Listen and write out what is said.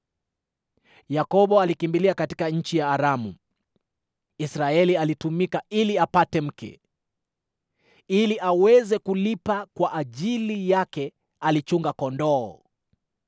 Yakobo alikimbilia katika nchi ya Aramu; Israeli alitumika ili apate mke, ili aweze kulipa kwa ajili yake alichunga kondoo.